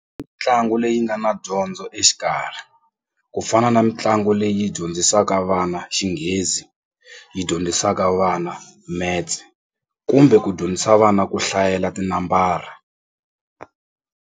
leyi nga na dyondzo exikarhi ku fana na mitlangu leyi dyondzisaka vana xinghezi yi dyondzisaka vana maths kumbe ku dyondzisa vana ku hlayela tinambara.